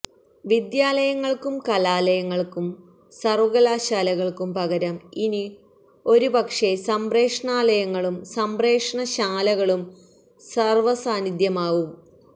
വിദ്യാലയങ്ങൾക്കും കലാലയങ്ങൾക്കും സർവ്വകലാശാലകൾക്കും പകരം ഇനി ഒരുപക്ഷേ സംപ്രേഷണാലയങ്ങളും സംപ്രേഷണശാലകളും സാർവ്വസാന്നിദ്ധ്യമാവും